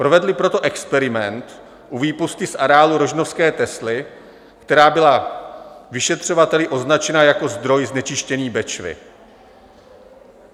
Provedli proto experiment u výpusti z areálu rožnovské Tesly, která byla vyšetřovateli označena jako zdroj znečištění Bečvy.